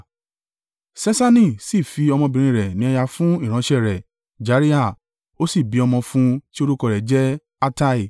Ṣeṣani sì fi ọmọ obìnrin rẹ̀ ní aya fún ìránṣẹ́ rẹ̀ Jariha, ó sì bí ọmọ fún tí orúkọ rẹ̀ jẹ́ Attai.